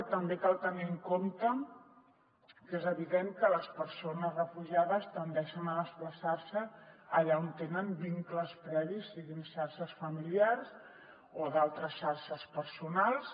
i també cal tenir en compte que és evident que les persones refugiades tendeixen a desplaçar se allà on tenen vincles previs siguin xarxes familiars o altres xarxes personals